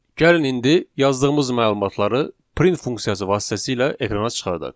Gəlin indi yazdığımız məlumatları print funksiyası vasitəsilə ekrana çıxardaq.